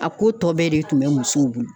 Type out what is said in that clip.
A ko tɔ bɛɛ de tun bɛ musow bolo.